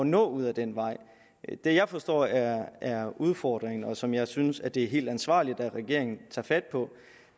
nå ud ad den vej det jeg forstår er er udfordringen og som jeg synes at det er helt ansvarligt at regeringen tager fat på